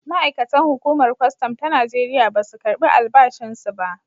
Ma’aikatan hukumar kwastam ta Najeriya ba su karbi albashinsu ba.